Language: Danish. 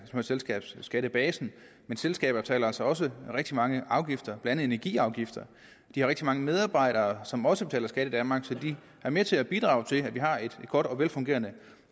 med selskabsskattebasen men selskaber betaler altså også rigtig mange afgifter blandt andet energiafgifter de har rigtig mange medarbejdere som også betaler skat i danmark så de er med til at bidrage til at vi har et godt og velfungerende